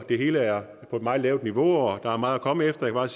det hele er på et meget lavt niveau og der er meget at komme efter jeg